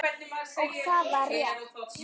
Og það var rétt.